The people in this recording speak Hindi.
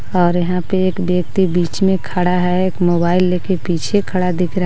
ओर यहां पे एक वक्ति बीच में खड़ा है एक मोबाइल लेके पीछे खड़ा दिख रहा है.